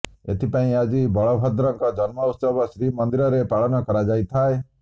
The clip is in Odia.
ଏଥିପାଇଁ ଆଜି ବଳଭଦ୍ରଙ୍କ ଜନ୍ମ ଉତ୍ସବ ଶ୍ରୀମନ୍ଦିରରେ ପାଳନ କରାଯାଇଥାଏ